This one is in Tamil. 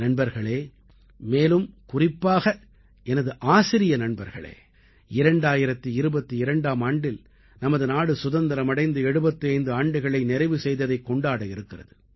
நண்பர்களே மேலும் குறிப்பாக எனது ஆசிரிய நண்பர்களே 2022ஆம் ஆண்டில் நமது நாடு சுதந்திரம் அடைந்து 75 ஆண்டுகளை நிறைவு செய்ததைக் கொண்டாட இருக்கிறது